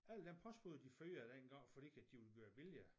Alle dem postbude de fyrede dengang for ikke at de ville gøre vilje